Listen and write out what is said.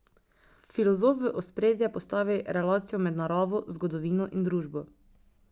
Filozof v ospredje postavi relacijo med naravo, zgodovino in družbo.